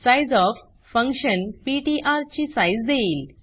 sizeof function PTR ची size देईल